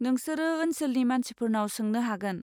नोंसोरो ओनसोलनि मानसिफोरनाव सोंनो हागोन।